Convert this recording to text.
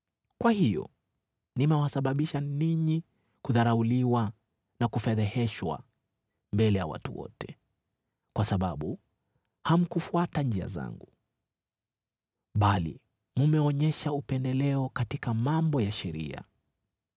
“Kwa hiyo nimewasababisha ninyi kudharauliwa na kufedheheshwa mbele ya watu wote, kwa sababu hamkufuata njia zangu, bali mmeonyesha upendeleo katika mambo ya sheria.”